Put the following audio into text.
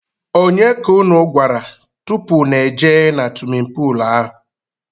ọnye ka ụnụ gwara tụpụ ụnụ ejee na swimin poolu ahụ?